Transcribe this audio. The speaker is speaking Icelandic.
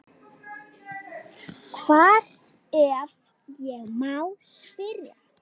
Hvar, ef ég má spyrja?